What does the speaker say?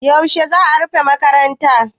Yaushe za a rufe makaranta?